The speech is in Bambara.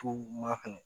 To maa fɛnɛ